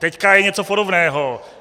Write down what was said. Teď je něco podobného.